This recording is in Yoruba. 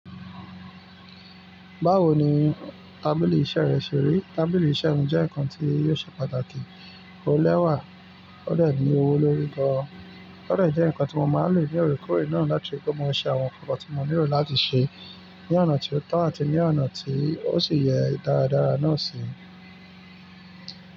Báwo ni tábìlì iṣẹ́ rẹ ṣe rí? Tábìlì iṣẹ́ mi jẹ́ nǹkan tí yóò ṣe pàtàkì ó lẹ́wà, ó dè ní owó lórí gan, ó dè jẹ́ nǹkan tí mo máa ń lò ní òre koore náà láti rí pé mo ṣe àwọn ǹkan tí mo nílò láti ṣe ní ọ̀nà ti ó tọ́ àti ní ọ̀nà tí ó sì yẹ dáradára náà ṣi.